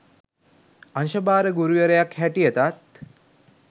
අංශ භාර ගුරුවරියක් හැටියටත්